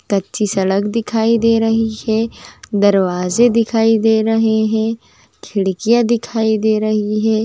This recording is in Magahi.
कच्ची सड़क दिखाई दे रही है दरवाजे दिखाई दे रहे है खिड़कियां दिखाई दे रही है।